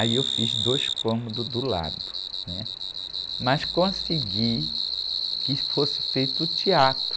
Aí eu fiz dois cômodos do lado, mas consegui que fosse feito o teatro.